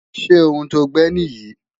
Ṣé ohun to gbẹ́ nì yí?